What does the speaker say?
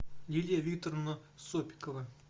лилия викторовна сопикова